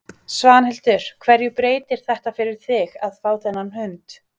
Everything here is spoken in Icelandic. Svanhildur, hverju breytir þetta fyrir þig að fá þennan hund?